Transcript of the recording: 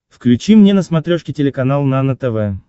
включи мне на смотрешке телеканал нано тв